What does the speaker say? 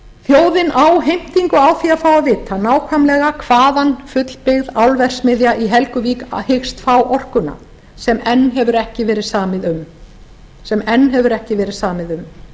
þjóðin á heimtingu á því að fá að vita nákvæmlega hvaðan fullbyggð álverksmiðja í helguvík hyggst fá orkuna sem enn hefur ekki verið samið um